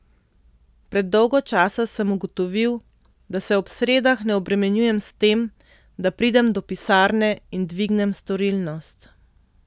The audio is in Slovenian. Pred dolgo časa sem ugotovil, da se ob sredah ne obremenjujem s tem, da pridem do pisarne in dvignem storilnost.